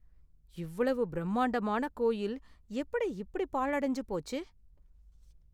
இவ்வளவு பிரம்மாண்டமான கோயில் எப்படி இப்படி பாழடைஞ்சு போச்சு?